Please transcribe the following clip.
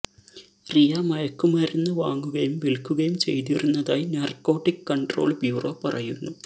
റിയ മയക്കുമരുന്ന് വാങ്ങുകയും വില്ക്കുകയും ചെയ്തിരുന്നതായി നാര്ക്കോട്ടിക് കണ്ട്രോള് ബ്യൂറോ പറയുന്നു